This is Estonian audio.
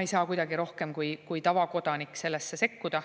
ei saa kuidagi rohkem sekkuda kui tavakodanik.